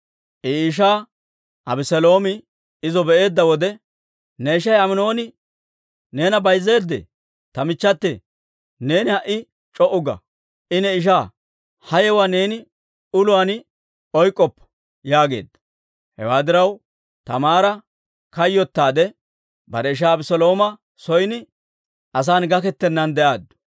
I ishaa Abeseeloomi izo be'eedda wode, «Ne ishay Aminooni neena bayzzeedee? Ta michchate, neeni ha"i c'o"u ga. I ne ishaa; ha yewuwaa neeni uluwaan oyk'k'oppa» yaageedda. Hewaa diraw, Taamaara kayyotaade bare ishaa Abeselooma son, asan gakettennaan de'aaddu.